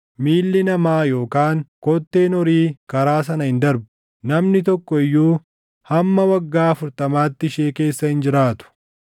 Miilli namaa yookaan kotteen horii karaa sana hin darbu; namni tokko iyyuu hamma waggaa afurtamaatti ishee keessa hin jiraatu.